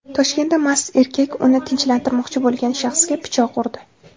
Toshkentda mast erkak uni tinchlantirmoqchi bo‘lgan shaxsga pichoq urdi.